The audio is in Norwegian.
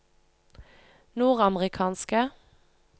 nordamerikanske